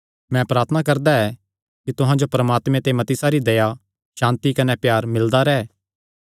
मैं प्रार्थना करदा ऐ कि तुहां जो परमात्मे ते मती सारी दया सांति कने प्यार मिलदा रैंह्